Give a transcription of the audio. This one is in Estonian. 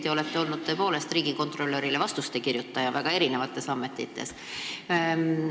Te olete tihti olnud tõepoolest riigikontrolörile vastuste kirjutaja väga erinevates ametites.